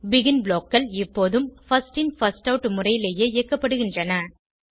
begin blockகள் எப்போதும் first in first out முறையிலேயே இயக்கப்படுகின்றன